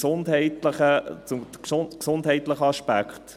Zum gesundheitlichen Aspekt: